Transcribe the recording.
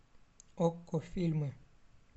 окко фильмы